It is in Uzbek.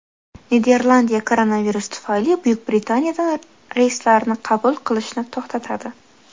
Niderlandiya koronavirus tufayli Buyuk Britaniyadan reyslarni qabul qilishni to‘xtatadi.